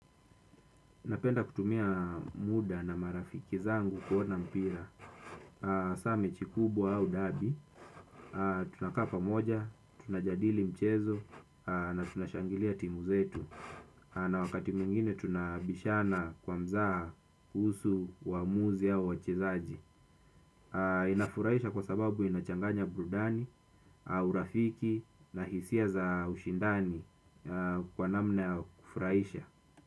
Napenda kutumia muda na marafiki zangu kuona mpira. Hasa mechi kubwa au derby, tunakaa pamoja, tunajadili mchezo na tunashangilia timu zetu. Na wakati mwingine tunabishana kwa mzaha kuhusu waamuzi au wachezaji. Inafurahisha kwa sababu inachanganya burudani, urafiki na hisia za ushindani kwa namna ya kufurahisha.